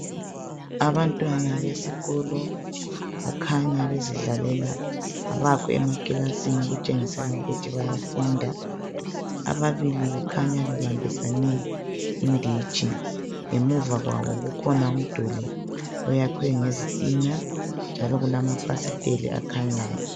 Abantwana besikolo bakhanya bezidlalela. Abakho emakilasini ukutshengisela ukuthi bayafunda ababili bakhanya bebambisane inditshi ngemuva kwabo kukhona umduli oyakhwe ngezitina njalo kulamafasiteli akhanyayo.